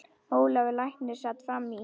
Ólafur læknir sat fram í.